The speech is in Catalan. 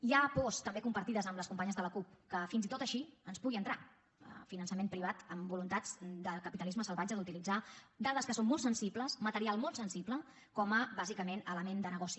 hi ha pors també compartides amb les companyes de la cup que fins i tot així ens pugui entrar finançament privat amb voluntats de capitalisme salvatge d’utilitzar dades que són molt sensibles material goci